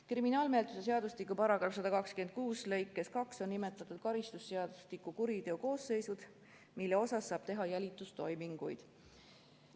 Kriminaalmenetluse seadustiku § 126 lõikes 2 on nimetatud karistusseadustiku kuriteokoosseisud, mille suhtes saab teha jälitustoiminguid.